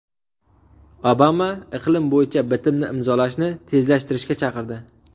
Obama iqlim bo‘yicha bitimni imzolashni tezlashtirishga chaqirdi.